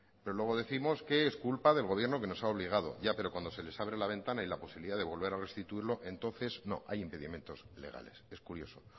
pero luego décimos que es culpa del gobierno que nos ha obligado ya pero cuando se les abre la ventana y la posibilidad de volver a restituirlo entonces no hay impedimentos legales es curioso